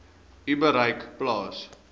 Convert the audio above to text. u bereik plaas